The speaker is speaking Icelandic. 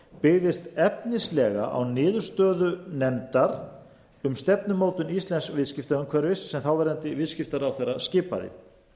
byggðist efnislega á niðurstöðu nefndar um stefnumótun íslensks viðskiptaumhverfis sem þáverandi viðskiptaráðherra skipaði